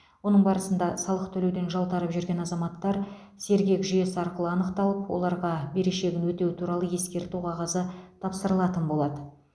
оның барысында салық төлеуден жалтарып жүрген азаматтар сергек жүйесі арқылы анықталып оларға берешегін өтеу туралы ескерту қағазы тапсырылатын болады